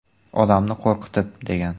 Odamni qo‘rqitib”, degan.